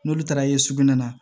N'olu taara ye sugunɛ na